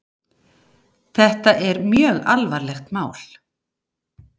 Þetta er mjög alvarlegt mál.